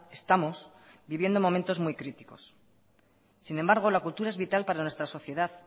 estamos viviendo momentos muy críticos sin embargo la cultura es vital para nuestra sociedad